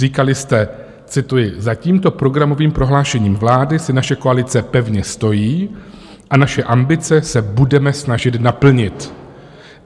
Říkali jste - cituji: Za tímto programovým prohlášením vlády si naše koalice pevně stojí a naše ambice se budeme snažit naplnit.